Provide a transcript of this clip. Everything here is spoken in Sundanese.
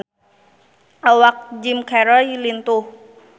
Awak Jim Carey lintuh